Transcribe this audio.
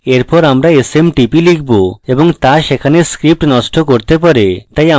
এরপর আমি smtp লিখব এবং তা সেখানে script নষ্ট করতে পারে